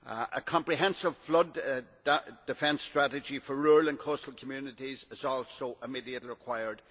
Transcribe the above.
A comprehensive flood defence strategy for rural and coastal communities is also immediately required.